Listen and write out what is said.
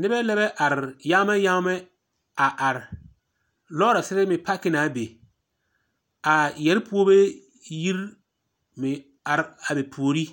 Nebԑ lԑ bԑ are yaamԑ yaamԑ a are, lͻͻresere meŋ paaki na a be. Aa yԑre puoribe yiri meŋ a be puori.